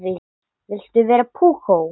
Viltu vera púkó?